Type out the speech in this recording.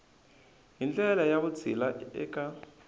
hi ndlela ya vutshila eka